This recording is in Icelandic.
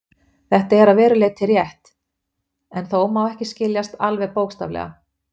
Þetta er að verulegu leyti rétt, en má þó ekki skiljast alveg bókstaflega.